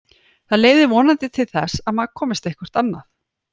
Það leiðir vonandi til þess að maður komist eitthvert annað.